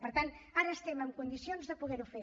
per tant ara estem en condicions de poder ho fer